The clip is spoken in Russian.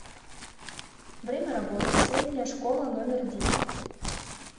время работы средняя школа номер десять